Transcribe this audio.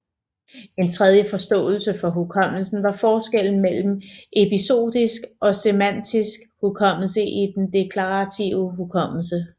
En tredje forståelse for hukommelsen var forskellen mellem episodisk og semantisk hukommelse i den deklarative hukommelse